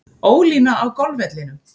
Ólína á golfvellinum.